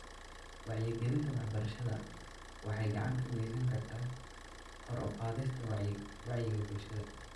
Wacyigelinta waxbarashada waxay gacan ka geysan kartaa kor u qaadista wacyiga bulshada.